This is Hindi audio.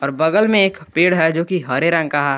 और बगल में एक पेड़ है जो कि हरे रंग का है।